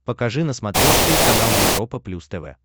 покажи на смотрешке канал европа плюс тв